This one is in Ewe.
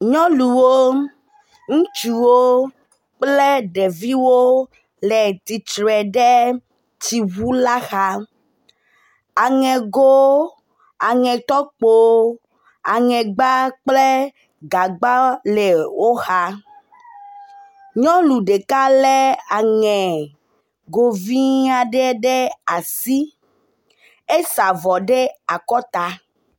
Nyɔnuwo, ŋutsuwo kple ɖeviwo le tsitre ɖe tsiŋu la xa, aŋego, aŋetɔkpo aŋegba kple gagba le wo xa. Nyɔnu ɖeka lé aɛego vi aɖe ɖe asi, esa avɔ ɖe akɔta.